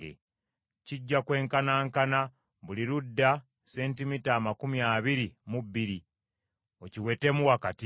Kijja kwenkanankana, buli ludda sentimita amakumi abiri mu bbiri, okiwetemu wakati.